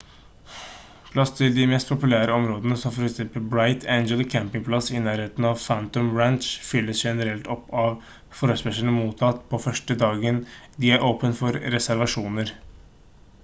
plass til de mest populære områdene som for eksempel bright angel campingplass i nærheten av phantom ranch fylles generelt opp av forespørsler mottatt på første dagen de er åpnet for reservasjoner